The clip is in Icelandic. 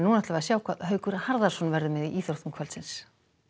sjá hvað Haukur Harðarson verður með í íþróttum kvöldsins